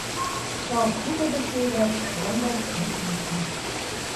Žal hude besede, vendar resnične.